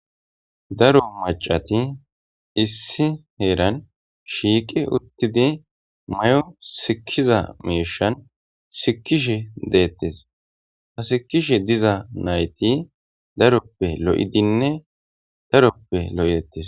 daro macati issi heeran shiiqi uttidi mayo sikiza meishan sikishe deettes hasikishe diza nayti daroppe lo7idinne daroppe lo7eettes